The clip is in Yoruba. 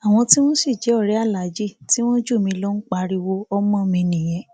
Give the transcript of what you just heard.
àwọn tí wọn sì jẹ ọrẹ aláàjì tí wọn jù mí lọ ń pariwo ọmọ mi nìyẹn